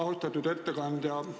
Austatud ettekandja!